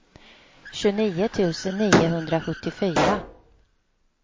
tjugonio tusen niohundrasjuttiofyra